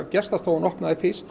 gestastofan opnaði fyrst